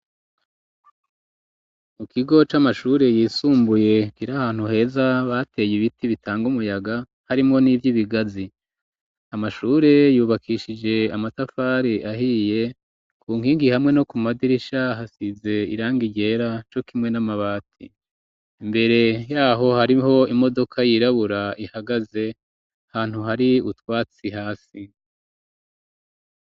Mu kigo c'amashure yisumbuye kiri ahantu heza bateye ibiti bitanga umuyaga harimwo n'ivyo bigazi amashure yubakishije amatafari ahiye ku nkigi hamwe no ku madirisha hasize irangi ryera co kimwe n'amabati mbere yaho hariho imodoka yirabura ihagaze ahantu hari utwatsi hasi